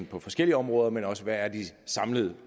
på forskellige områder men også hvad de samlede